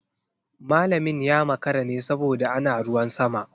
Malamin ya makara ne saboda ana ruwan sama.